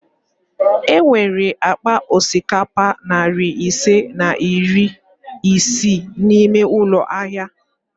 E nwere akpa osikapa nari ise na iri isii n'ime ụlọ ahịa